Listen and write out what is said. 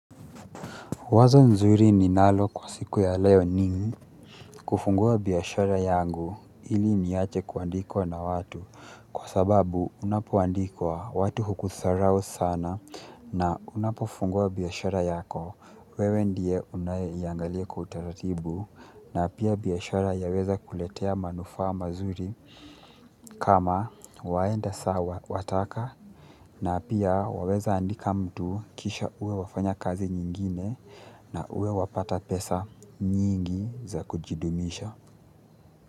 Wazo nzuri ninalo kwa siku ya leo ni kufungua biashara yangu ili niache kuandikwa na watu kwa sababu unapoandikwa watu hukudharau sana na unapofungua biashara yako wewe ndiye unayeiangalia kwa taratibu na pia biashara yaweza kuletea manufaa mazuri. Kama waenda sawa unataka na pia unaweza kuajiri mtu kisha uwe unafanya kazi nyingine na uwe wapata pesa nyingi za kujidumisha.